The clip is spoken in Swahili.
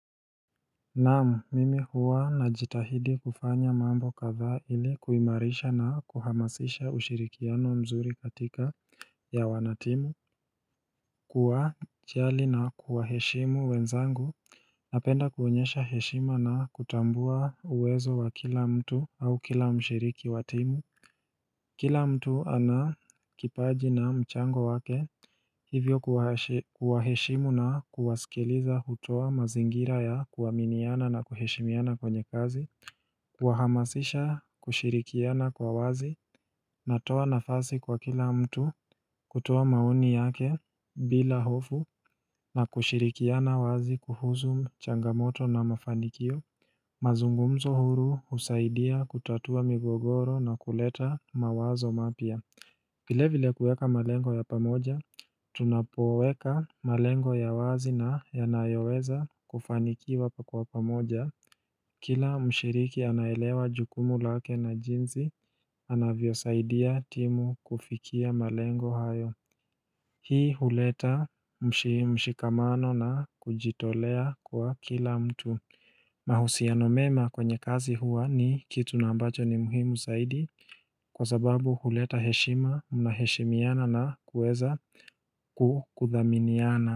Naam mimi huwa na jitahidi kufanya mambo kadhaa ili kuimarisha na kuhamasisha ushirikiano mzuri katika ya wanatimu kuwa jali na kuwa heshimu wenzangu Napenda konyeshau heshima na kutambua uwezo wa kila mtu au kila mshiriki wa timu Kila mtu ana kipaji na mchango wake hivyo kuwaheshimu na kuwasikiliza hutoa mazingira ya kuaminiana na kuheshimiana kwenye kazi kuhamasisha kushirikiana kwa wazi na toa nafasi kwa kila mtu kutoa maoni yake bila hofu na kushirikiana wazi kuhusu changamoto na mafanikio mazungumzo huru husaidia kutatua migogoro na kuleta mawazo mapya vile vile kuweka malengo ya pamoja, tunapoweka malengo ya wazi na yanayoweza kufanikiwa kwa pamoja Kila mshiriki anaelewa jukumu lake na jinsi, anavyo saidia timu kufikia malengo hayo Hii huleta mshikamano na kujitolea kwa kila mtu mahusiano mema kwenye kazi hua ni kitu ambacho ni muhimu zaidi Kwa sababu huleta heshima mnaheshimiana na kuweza kukuthaminiana.